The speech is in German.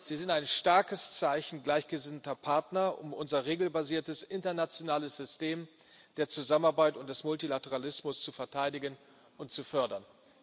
Sie sind ein starkes Zeichen gleichgesinnter Partner, um unser regelbasiertes internationales System der Zusammenarbeit und des Multilateralismus zu verteidigen und zu fördern.